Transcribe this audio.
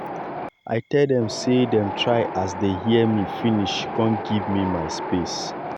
i tell dem sey dem try as dey hear me finish kon give me my space.